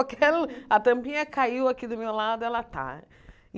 A tampinha caiu aqui do meu lado, ela tá.